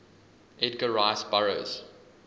edgar rice burroughs